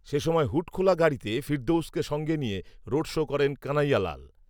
সে সময় হুডখোলা গাড়িতে ফেরদৌসকে সঙ্গে নিয়ে রোড শো করেন কানাইয়ালাল